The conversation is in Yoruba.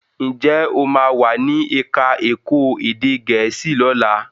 Njé o ma wá ní èka èko èdè gèésì lọla?